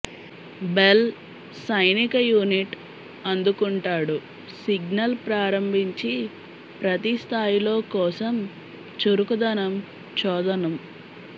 bell సైనిక unit అందుకుంటాడు signal ప్రారంభించి ప్రతి స్థాయిలో కోసం చురుకుదనం చోదనం